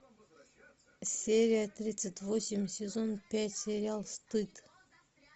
серия тридцать восемь сезон пять сериал стыд